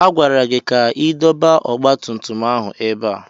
A gwara gị ka ị dọba ọgba tum tum ahụ ebe a!